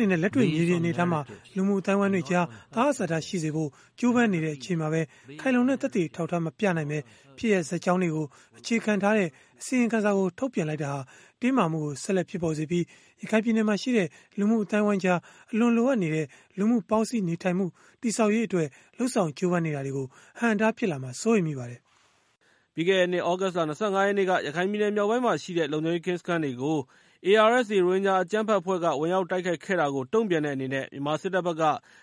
နေနဲ့ လက်တွေ့မြေပြင်အနေအထားမှာ လူမှုအသိုက်အဝန်းတွေကြား သဟဇာတ ရှိစေဖို့ ကြိုးပမ်း နေတဲ့ အချိန်မှာပဲ ခိုင်လုံတဲ့ သက်သေအထောက်အထားမပြနိုင်ဘဲ ဖြစ်ရပ်ဇာတ် ကြောင်းတွေကို အခြေခံထားတဲ့ အစီရင်ခံစာကို ထုတ်ပြန်လိုက်တာဟာ တင်းမာမှုကို ဆက်လက် ဖြစ်ပေါ်စေပြီး၊ ရခိုင်ပြည်နယ်မှာရှိတဲ့ လူမှု အသိုက်အဝန်းကြား အလွန်လိုအပ်နေတဲ့ လူမှု ပေါင်းစည်း နေထိုင်မှုတည်ဆောက်ရေးအတွက် လုပ်ဆောင်ကြိုးပမ်း နေတာတွေကို အဟန့်အတား ဖြစ်လာမှာ စိုးရိမ်မိပါတယ်။” ပြီးခဲ့တဲ့နှစ် သြဂုတ်လ ၂၅ ရက်နေ့က ရခိုင်ပြည်နယ်မြောက်ပိုင်းမှာရှိတဲ့ လုံခြုံရေးကင်းစခန်းတွေကို ARSA ရိုဟင်ဂျာအကြမ်းဖက်အဖွဲ့က ဝင်ရောက်တိုက်ခိုက်ခဲ့တာကို တုံ့ပြန်တဲ့အနေနဲ့ မြန်မာ စစ်တပ် ဘက်က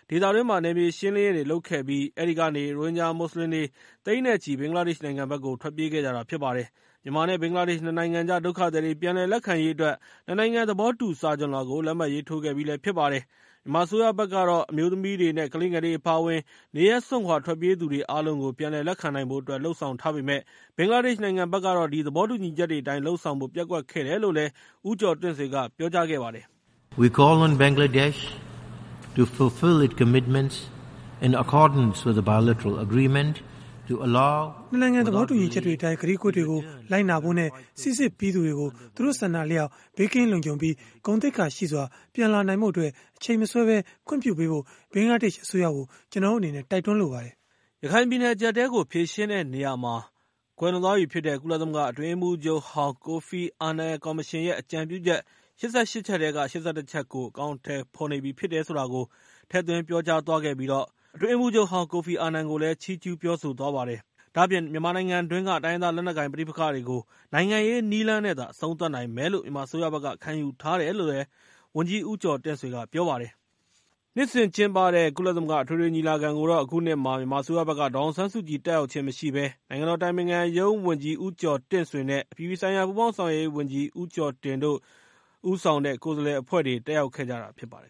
ဒေသ တွင်း နယ်မြေရှင်းလင်းရေးတွေလုပ်ခဲ့ပြီး အဲဒီကနေ ရိုဟင်ဂျာမွတ်စလင်တွေ သိန်းနဲ့ ချီ ဘင်္ဂလားဒေ့်ရှ် နိုင်ငံ ဘက်ကို ထွက်ပြေးခဲ့ကြတာဖြစ်ပါတယ်။ မြန်မာ နဲ့ ဘင်္ဂလားဒေ့ရှ် ၂ နိုင်ငံ ကြား ဒုက္ခသည်တွေ ပြန်လက်ခံ ရေးအတွက် ၂ နိုင်ငံ သဘောတူညီမှု စာချွန်လွှာကို လက်မှတ်ရေး ထိုးခဲ့ပြီးဖြစ်ပါတယ်။ မြန်မာအစိုးရဘက် ကတော့ အမျိုးသမီးတွေနဲ့ ကလေးငယ်တွေအပါဝင် နေရပ် စွန့်ခွာထွက်ပြေးသွားသူတွေအားလုံးကို ပြန်လက်ခံ နိုင်ဖို့အတွက် လုပ်ဆောင်ထားပေမယ့်၊ ဘင်္ဂလားဒေ့ရှ်နိုင်ငံဘက်ကတော့ ဒီသဘောတူညီချက်တွေအတိုင်း လုပ်ဆောင်ဖို့ ပျက်ကွက်ခဲ့တယ် လို့ ဦးကျော်တင့်ဆွေက ပြောလိုက်ပါတယ်။ “၂ နိုင်ငံသဘောတူညီချက်တွေအတိုင်း ကတိကဝတ်တွေကို လိုက်နာဖို့ နဲ့ စီစစ်ပြီးသူတွေကို သူတို့ ဆန္ဒအလျှောက် ဘေးကင်းလုံခြုံပြီး ဂုဏ်သိက္ခာရှိစွာ ပြန်လာနိုင်ဖို့အတွက် အချိန်မဆွဲဘဲ ခွင့်ပြုပေးဖု့ိ ဘင်္ဂလားဒေ့ရှ်အစိုးရကို ကျနော်တို့အနေနဲ့ တိုက်တွန်းလိုပါတယ်။” ရခိုင်ပြည်နယ်အကျပ်အတည်းကို ဖြေရှင်းတာမှာ အကြံပေးခဲ့တဲ့ ကွယ်လွန်သူ ကုလသမဂ္ဂ အတွင်း ရေးမှူး ချုပ်ဟောင်း ကိုဖီ အာနန်ကို ချီးကျုူး ဂုဏ်ပြုစကားပြောသွားသလို ကိုဖီ အာနန် ကော်မရှင်ရဲ့ အကြံပြုချက် ၈၈ ချက်အနက် ၈၁ ချက်ကို အကောင်အထည်ဖော်နေပြီ ဆိုတာကိုလည်း ထည့်ပြော သွားပါတယ်။ ဒါ့အပြင် တိုင်းရင်းသား လက်နက်ကိုင်ပဋိပက္ခတွေကို နိုင်ငံရေးနည်းလမ်းနဲ့သာ အဆုံး သတ်နိုင်မယ်လို့ ခံယူထားတယ် လို့လည်း ဝန်ကြီး ဦးကျော်တင့်ဆွေကပြောပါတယ်။ နှစ်စဉ်ကျင်းပတဲ့ကုလသမဂ္ဂအထွေထွေညီလာခံကိုတော့ မြန်မာအစိုးရဘက်က ဒေါ်အောင်ဆန်း စုကြည် တက်ရောက်ခြင်းမရှိဘဲ မြန်မာအစိုးရဘက်က နိုင်ငံတော်အတိုင်ပင်ခံရုံးဝန်ကြီး ဦးကျော်တင့်ဆွေ ၊ အပြည်ပြည် ဆိုင်ရာ ပူးပေါင်းဆောင်ရွက်ရေးဝန်ကြီး ဦးကျော်တင် နဲ့ ကိုယ်စားလှယ်အဖွဲ့တွေ တက်ရောက်ခဲ့ကြတာ ဖြစ်ပါတယ်